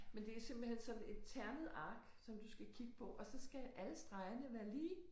Men det er simpelthen sådan et ternet ark som du skal kigge på og så skal alle stregerne være lige